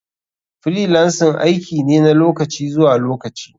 Freelancing aiki ne na lokaci zuwa lokaci.